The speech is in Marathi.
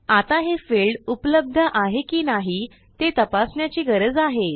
आता हे फील्ड उपलब्ध आहे की नाही ते तपासण्याची गरज आहे